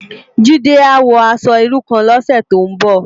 Jide á wò aṣò irú kán lòsè tó n bò